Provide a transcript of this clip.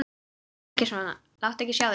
Lætur ekki sjá sig.